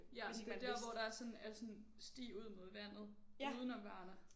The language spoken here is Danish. Ja det er der hvor der er sådan er sådan sti ud mod vandet udenom Varna